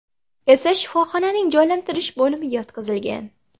esa shifoxonaning jonlantirish bo‘limiga yotqizilgan.